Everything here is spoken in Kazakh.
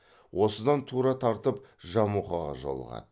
осыдан тура тартып жамұқаға жолығады